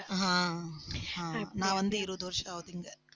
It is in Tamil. ஆஹ் ஆஹ் நான் வந்து, இருபது வருஷம் ஆகுது இங்க